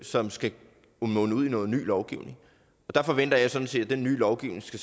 som skal munde ud i noget ny lovgivning der forventer jeg sådan set at denne nye lovgivning så